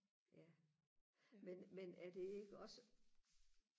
ja men men er det ikke også